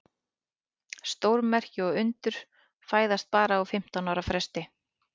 Stórmerki og undur fæðast bara á fimmtán ára fresti.